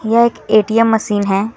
यह एक ATM machine है।